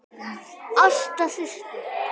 Ásta systir.